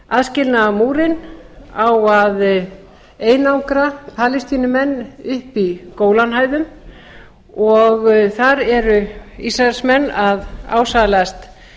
að aðskilnaðarmúrinn á að einangra palestínumenn uppi í gólanhæðum og þar eru ísraelsmenn að ásælast